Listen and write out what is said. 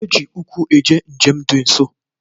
E ji ụkwụ eje njem dị nso